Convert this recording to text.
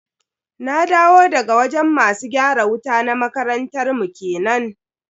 Na dawo daga wajen masu gyara wuta na makarantar mu kenan.